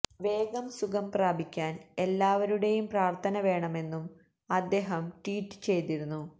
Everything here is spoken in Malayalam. വേഗം സുഖം പ്രാപിക്കാൻ എല്ലാവരുടെയും പ്രാർത്ഥന വേണമെന്നും അദേഹം ട്വീറ്റ് ചെയ്തിരുന്നു